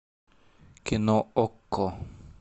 кино окко